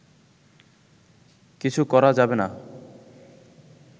কিছু করা যাবে না